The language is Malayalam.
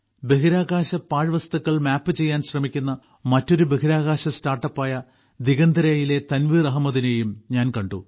ബഹിരാകാശ പാഴ്വസ്തുക്കൾ മാപ്പ് ചെയ്യാൻ ശ്രമിക്കുന്ന മറ്റൊരു ബഹിരാകാശ സ്റ്റാർട്ടപ്പായ ദിഗന്തരയിലെ തൻവീർ അഹമ്മദിനെയും ഞാൻ കണ്ടു